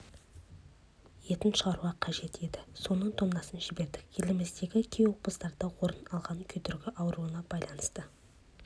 етін шығаруы қажет еді соның тоннасын жібердік еліміздегі кей облыстарда орын алған күйдіргі ауруына байланысты